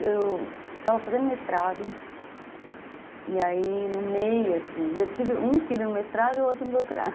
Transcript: Eu estava fazendo mestrado e aí no meio, assim, eu tive um filho no mestrado e outro no doutorado.